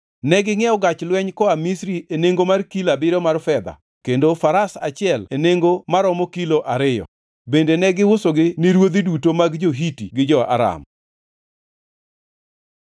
Negingʼiewo gach lweny koa Misri e nengo mar kilo abiriyo mar fedha kendo faras achiel e nengo maromo kilo ariyo. Bende ne giusogi ni ruodhi duto mag jo-Hiti gi jo-Aram.